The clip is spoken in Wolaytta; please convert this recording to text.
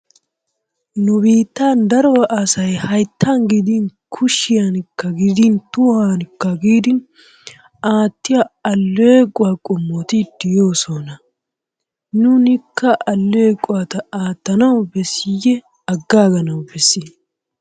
Nu biittan daro asay hayttan gidin kushiyankka gidin tohuwankka gidin aattiyo alleequwa qommoti de'oosona. Nuunikka alleeqota aattanawu bessiyee agaaganawu bessii?